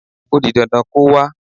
O di dandan kó wá.